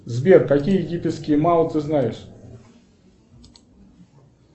сбер какие египетские мао ты знаешь